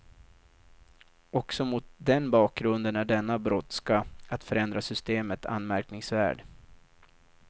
Också mot den bakgrunden är denna brådska att förändra systemet anmärkningsvärd.